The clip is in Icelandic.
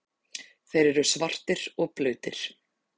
Þeir eru svartir og blautir.